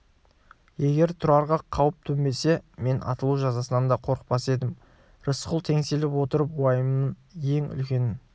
егер тұрарға қауіп төнбесе мен атылу жазасынан да қорықпас едім рысқұл теңселіп отырып уайымының ен үлкенін